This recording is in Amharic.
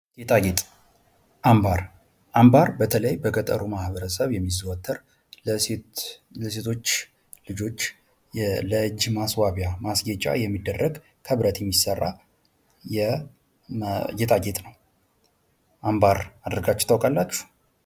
ጌጣጌጥ አምባር በተለይ በገጠሩ ማበረሰብ የሚዘወትር ለሴቶች ልጆች ለእጅ ማስዋቢያ የሚደረግ ክብረት የሚሠራ ጌጣጌጥ ነው አምባር አደርጋችሁ ታውቃላችሁ?